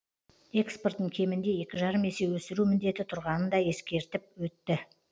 экспортын кемінде екі жарым есе өсіру міндеті тұрғанын да ескертіп өтті